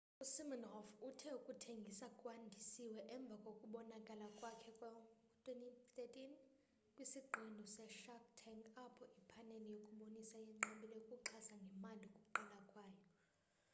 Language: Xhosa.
usiminoff uthe ukuthengisa kwandisiwe emva kokubonakala kwakhe ngo-2013 kwisiqendu seshark tank apho iphaneli yokubonisa yenqabile ukuxhasa ngemali ukuqala kwayo